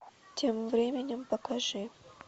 тем временем покажи